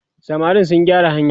samarin sun gyara hanyar?